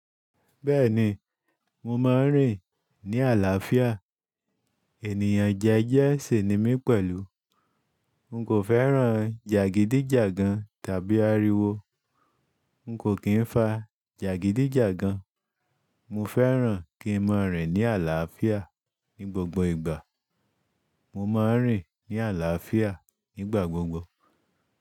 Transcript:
Bẹ́ẹ̀ni, mo máa ń rìn ní àlàáfíà. Ènìyàn jẹ́jẹ́ ṣi ni mí pẹ̀lú. N kò fẹ́ràn jàgídíjàgan tàbí ariwo. N kò kí ń fa jàgídíjàgan. Mo fẹ́ràn kí n máa rìn ní àlàáfíà ní gbogbo ìgbà. Mo máa ń rìn ní àlàáfíà nígbà gbogbo.